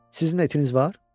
Sizin də itiniz var?